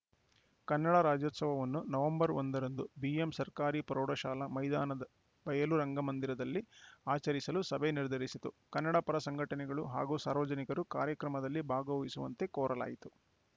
ಕನ್ನಡ ರಾಜ್ಯೋತ್ಸವವನ್ನು ನವೆಂಬರ್ ಒಂದರಂದು ಬಿಎಂ ಸರ್ಕಾರಿ ಪ್ರೌಢಶಾಲಾ ಮೈದಾನದ ಬಯಲು ರಂಗಮಂದಿರದಲ್ಲಿ ಆಚರಿಸಲು ಸಭೆ ನಿರ್ಧರಿಸಿತು ಕನ್ನಡಪರ ಸಂಘಟನೆಗಳು ಹಾಗೂ ಸಾರ್ವಜನಿಕರು ಕಾರ್ಯಕ್ರಮದಲ್ಲಿ ಭಾಗವಹಿಸುವಂತೆ ಕೋರಲಾಯಿತು